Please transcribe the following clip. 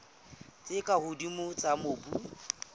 tse ka hodimo tsa mobu